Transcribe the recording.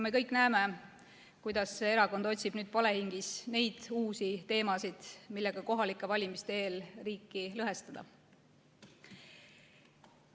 Me kõik näeme, kuidas see erakond otsib nüüd palehigis uusi teemasid, millega kohalike valimiste eel riiki lõhestada.